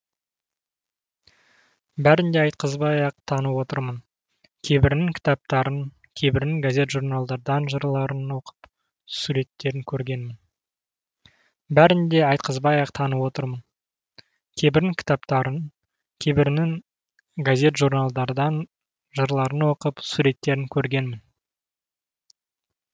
бәрін де айтқызбай ақ танып отырмын кейбірінің кітаптарын кейбірінің газет журналдардан жырларын оқып суреттерін көргенмін